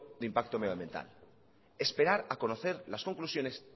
del impacto medioambiental esperar a conocer las conclusiones